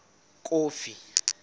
kofi